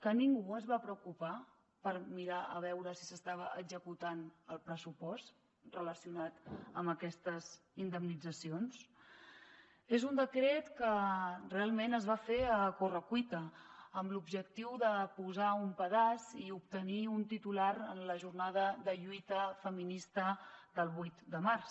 que ningú es va preocupar de mirar a veure si s’estava executant el pressupost relacionat amb aquestes indemnitzacions és un decret que realment es va fer a correcuita amb l’objectiu de posar un pedaç i obtenir un titular en la jornada de lluita feminista del vuit de març